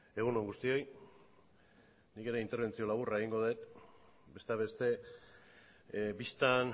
egun on guztioi nik ere interbentzio laburra egingo dut besteak beste bistan